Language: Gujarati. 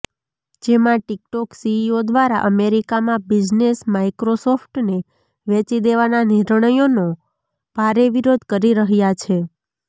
જેમાં ટિકટોક સીઈઓ દ્વારા અમેરિકામાં બિઝનેસ માઈક્રોસોફ્ટને વેચી દેવાનાં નિર્ણયનો ભારે વિરોધ કરી રહ્યા છે